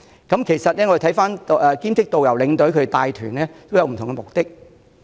兼職領隊及導遊帶團，各有不同目的。